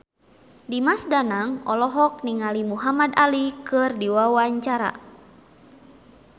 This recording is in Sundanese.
Dimas Danang olohok ningali Muhamad Ali keur diwawancara